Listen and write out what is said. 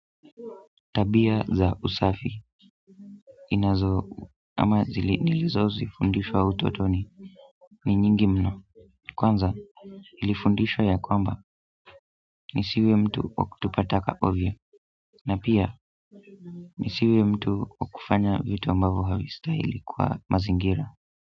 Tabia za usafi inazo ama zili nilizofundishwa utotoni ni nyingi mno kwanza nilifundishwa ya kwamba ni siwe mtu wakutupa taka ovyo na pia ni siwe mtu wakufanya vitu ambavyo havistahili kwa mazingira.